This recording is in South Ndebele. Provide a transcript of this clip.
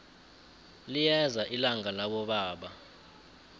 liyeza ilanga labobaba